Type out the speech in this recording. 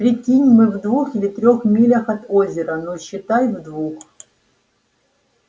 прикинь мы в двух или трёх милях от озера ну считай в двух